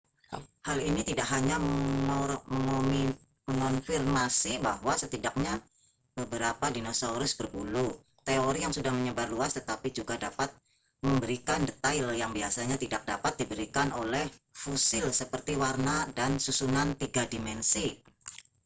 hal ini tidak hanya mengonfirmasi bahwa setidaknya beberapa dinosaurus berbulu teori yang sudah menyebar luas tetapi juga dapat memberikan detail yang biasanya tidak dapat diberikan oleh fosil seperti warna dan susunan tiga dimensi